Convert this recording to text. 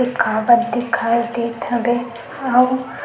एक खाब्त दिखाई देत हबे अऊ --